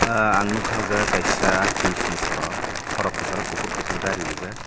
ahh ang nogka o jaga kaisa pis ni sorok sorok kesaro kopor kopor dari rijak.